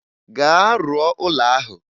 Gaa rụọ ụlọ ahụ.